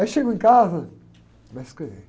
Aí chego em casa, começo a escrever.